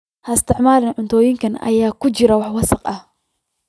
Ha isticmaalin cuntooyinka ay ku jiraan wax wasakh ah.